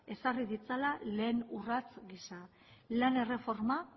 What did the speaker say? ezarri ditzala lehen urrats gisa lan erreforma